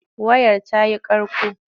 Wayar ta yi ƙarƙo.